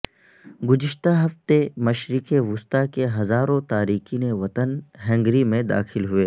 گذشتہ ہفتے مشرق وسطی کے ہزاروں تارکین وطن ہنگری میں داخل ہوئے